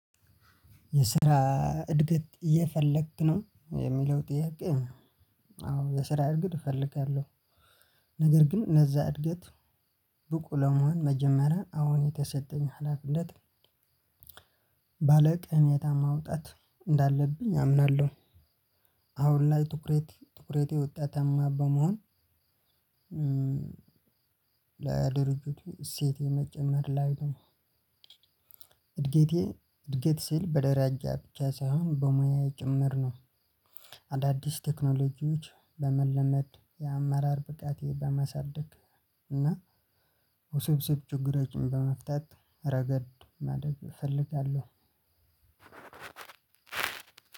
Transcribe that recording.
የስራ እድገት እየፈለክ ነው የሚለው ጥያቄ? አዎ የስራ እድገት እፈልጋለሁ። ነገር ግን እነዛ እድገት ብቁ ለመሆን መጀመሪያ አሁን የተሰጠኝ ሀላፊነት። ባለቅነት ማውጣት እንዳለብኝ አምናለሁ። አሁን ላይ ትኩረት ትኩረቴ ውጤታማ በመሆን እ ለድርጅቱ እሴት የመጨመር ላይ ነው። እድገቴ እድገት ሲል በደረጃ ብቻ ሳይሆን በሙያዬ ጭምር ነው። አዳዲስ ቴክኖሎጂዎች በመለመድ የአመራር ብቃቴ በመሳደግ እና ውስብስብ ችግሮችን በመፍታት ረገድ ማደግ እፈልጋለሁ።